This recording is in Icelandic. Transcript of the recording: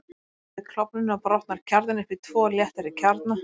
Við klofnunina brotnar kjarninn upp í tvo léttari kjarna.